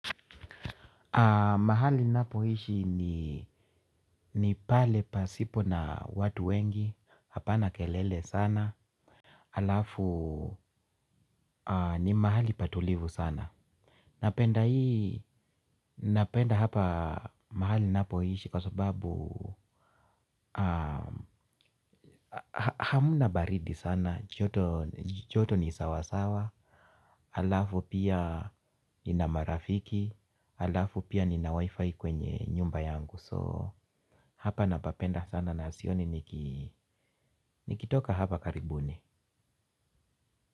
Mahali ninapoishi ni pale pasipo na watu wengi hapana kelele sana alafu ni mahali patulivu sana. Napenda hapa mahali ninapoishi kwa sababu hamna baridi sana, joto. Joto ni sawasawa alafu pia nina marafiki. Alafu pia nina wifi kwenye nyumba yangu So hapa napapenda sana na sioni nikitoka hapa karibuni.